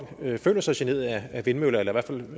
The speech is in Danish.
føler sig generet af vindmøller eller i hvert fald